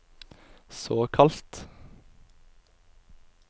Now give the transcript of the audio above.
såkalt